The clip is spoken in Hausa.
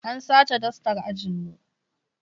An sace dastar ajin mu